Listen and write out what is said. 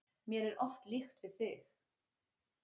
Mér er oft líkt við þig.